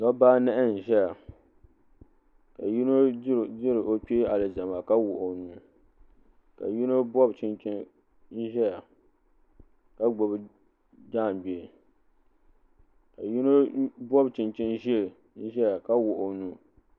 Dabba anahi n zaya ka yino diri o kpee alizama ka wuɣi o nuu ka yino bobi chinchini n ʒɛya ka gbibi jaangbee ka yino bobi chinchini ʒee n ʒia ka wuɣi o nuu.